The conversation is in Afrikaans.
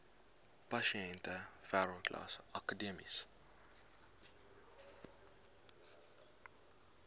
pasiënte wêreldklas akademiese